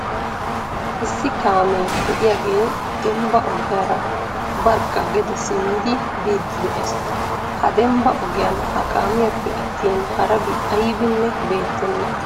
Issi kaamee de'iyaahe dembba ogiyaara barkka gede simmidi biidi de'ees. Ha dembba ogiyaan ha kaamiyappe attin harabi aybbinne beettena .